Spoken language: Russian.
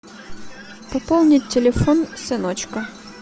пополнить телефон сыночка